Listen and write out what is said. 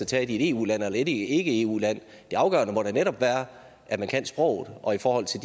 taget i et eu land eller i et ikke eu land det afgørende må da netop være at man kan sproget og i forhold til